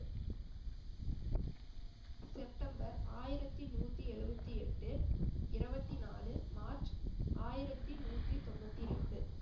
September ஆயிரத்தி நூத்தி எழுபத்தி எட்டு இருபத்தி நாலு மார்ச் ஆயிரத்தி நூத்தி தொண்ணூத்தி ரெண்டு